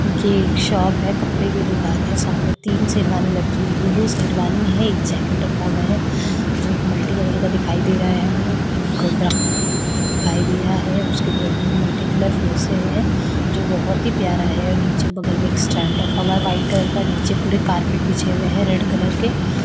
ये एक शॉप है कपड़े की दुकान है सामने तीन शेरवानी रखी हुई है दो शेरवानी है एक जैकेट रखा हुआ है जो एक मल्टी कलर का दिखाई दे रहा है हमें एक ब्राउन कलर में दिखाई दे रहा है उसके बगल में मल्टी कलर फिर से है जो बोहोत ही प्यारा है नीचे बगल में एक स्टैंड रखा हुआ है व्हाइट कलर का नीचे पूरे कारपेट बिछा हुए हैं रेड कलर के।